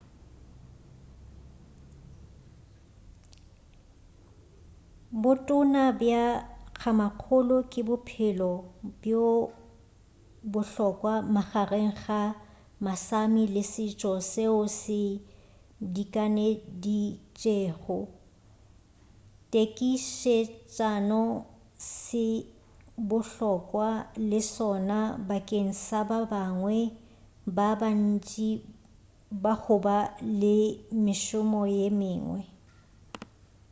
bo toona bja kgamakgolo ke bophelo bjo bohlokwa magareng ga ma-sámi le setšo seo se dikaneditšego tekišetšano se bohlokwa le sona bakeng sa bangwe ba bantši ba goba le mešomo ye mengwe